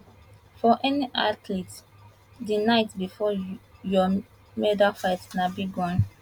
for any athlete di night bifor your medalfight na big one